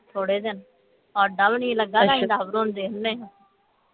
ਥੋੜੇ ਦਿਨ ਸਾਡਾ ਵੀ ਨਹੀਂ ਲੱਗਾ ਅਸੀਂ ਆਪ ਰਾਉਂਦੇ ਹੁੰਨੇ